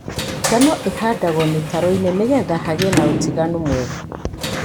Ngano ĩhandagwo mĩtaroinĩ nĩgetha hagie na ũtiganu mwega.